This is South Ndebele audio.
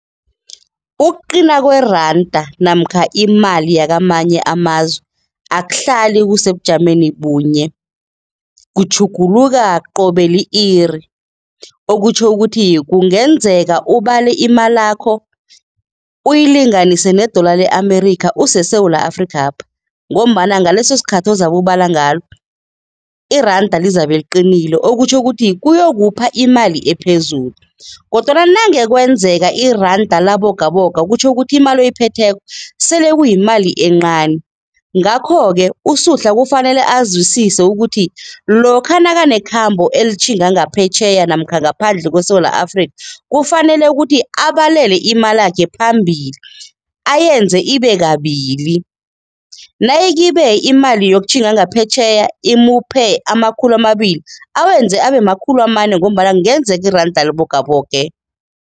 Ukuqina kweranda namkha imali yakamanye amazwe akuhlali kusebujameni bunye, kutjhuguluka qobe li-iri. Okutjho ukuthi kungenzeka ubale imalakho uyilinganise ne-dollar le-America useSewula Afrikapha ngombana ngaleso sikhathi ozabe ubala ngalo iranda lizabe liqinile, okutjho ukuthi kuyokupha imali ephezulu kodwana nange kwenzeka iranda labogabogako kutjho ukuthi imali oyiphetheko sele kuyimali encani. Ngakho-ke uSuhla kufanele azwisise ukuthi lokha nakanekhambo elitjhinga ngaphetjheya namkha ngaphandle kweSewula Afrika, kufanele ukuthi abalele imalakhe phambili ayenze ibe kabili. Nayikhibe imali yokutjhinga ngaphetjheya imuphe amakhulu amabili, awenze abe makhulu amane ngombana kungenzeka iranda libogaboge.